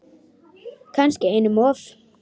Kannski einum of.